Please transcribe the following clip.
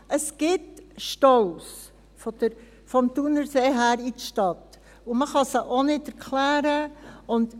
Es gibt Staus vom Thunersee her in die Stadt, und man kann sie auch nicht erklären.